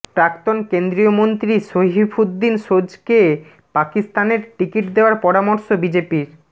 প্রাক্তন কেন্দ্রীয় মন্ত্রী সইফুদ্দিন সোজকে পাকিস্তানের টিকিট দেওয়ার পরামর্শ বিজেপির